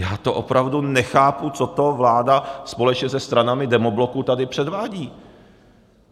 Já to opravdu nechápu, co to vláda společně se stranami Demobloku tady předvádí!